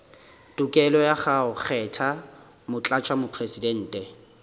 tokelo ya go kgetha motlatšamopresidente